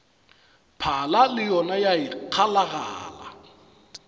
phala le yona ya ikgalagala